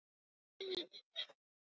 Þetta nafn: hvað var það?